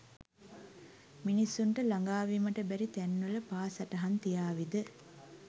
මිනිසුන්ට ලගා වීමට බෑරි තෑන්වල පා සටහන් තියාවිද?